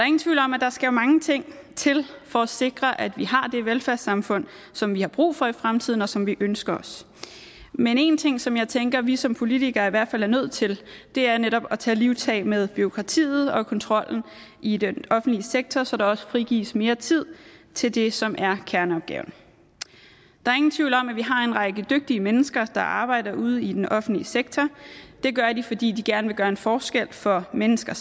ingen tvivl om at der skal mange ting til for at sikre at vi har det velfærdssamfund som vi har brug for i fremtiden og som vi ønsker os men én ting som jeg tænker at vi som politikere i hvert fald er nødt til er netop at tage livtag med bureaukratiet og kontrollen i den offentlige sektor så der også frigives mere tid til det som er kerneopgaverne der er ingen tvivl om at vi har en række dygtige mennesker der arbejder ude i den offentlige sektor det gør de fordi de gerne vil gøre en forskel for mennesker